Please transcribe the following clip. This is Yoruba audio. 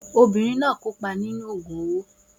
Obìnrin náà kópa nínú àṣà owó.